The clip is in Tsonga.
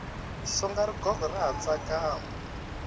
songa rigogo ra ha tsakama